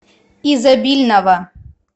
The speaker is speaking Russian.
изобильного